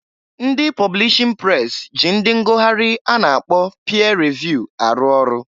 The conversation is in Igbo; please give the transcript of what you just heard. Ndị publishin pres ji ndị ngụgharị a na-akpọ pịa revụ arụ ọrụ.